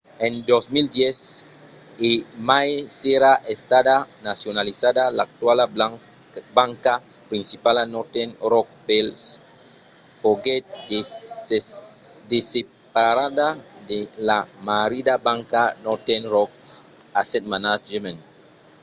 en 2010 e mai s'èra estada nacionalizada l'actuala banca principala northern rock plc foguèt desseparada de la ‘marrida banca’ northern rock asset management